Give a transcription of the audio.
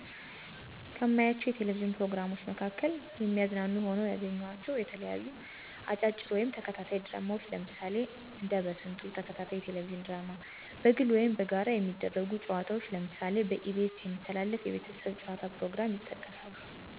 ከማያቸው የቴሌቪዥን ፕሮግራሞች መካከል የሚያዝናኑ ሆነው ያገኘኋቸው የተለያዩ አጫጭር ወይም ተከታታይ ድራማዎች ለምሳሌ እንደ በስንቱ ተከታታይ የቴሌቪዥን ድራማ፣ በግል ወይም በጋራ የሚደረጉ ጨዋታዎች ለምሳሌ በኢ.ቢ.ኤስ የሚተላለፍ የቤተሰብ ጨዋታ ፕሮግራም ይጠቀሳሉ።